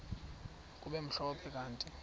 kube mhlophe kanti